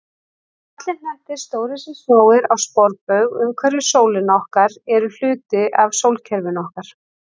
Allir hnettir, stórir sem smáir, á sporbaug umhverfis sólina okkar eru hluti af sólkerfinu okkar.